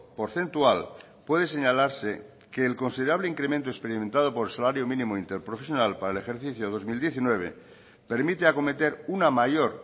porcentual puede señalarse que el considerable incremento experimentado por el salario mínimo interprofesional para el ejercicio dos mil diecinueve permite acometer una mayor